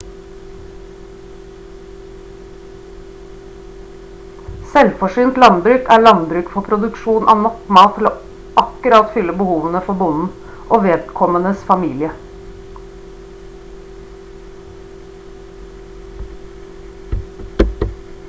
selvforsynt landbruk er landbruk for produksjon av nok mat til å akkurat oppfylle behovene for bonden og vedkommendes familie